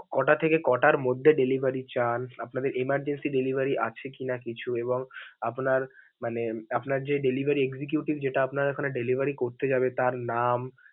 ক'টা থেকে ক'টার মধ্যে delivery চান, আপনাদের emergency আছে কি না কিছু এবং আপনার মানে আপনার যে delivery executive যেটা আপনার ওইখানে delivery করতে যাবে তার নাম.